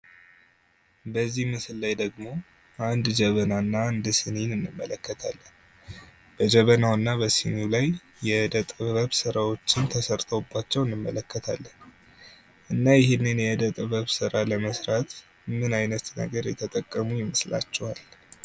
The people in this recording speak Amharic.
በዚህ ምስል ላይ ደግሞ አንድ ጀበና እና አንድ ሲኒን እንመለከታለን። በጀበናውና በሲኒው ላይም የዕደጥበብ ስራወች ተሰርተውባቸው እንመለከታለን። እና ይሄንን የዕደጥበብ ስራ ለመስራት ምን አይነት ነገር የተጠቀሙ ይመስላችኋል?